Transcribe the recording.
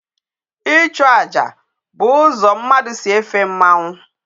Ichụ aja bụ ụzọ mmadụ si efe mmanwụ.